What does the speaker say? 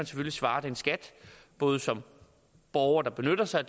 svare skat både som borger der benytter sig